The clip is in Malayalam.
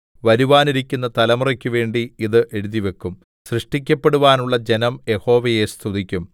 വരുവാനിരിക്കുന്ന തലമുറക്കു വേണ്ടി ഇത് എഴുതിവയ്ക്കും സൃഷ്ടിക്കപ്പെടുവാനുള്ള ജനം യഹോവയെ സ്തുതിക്കും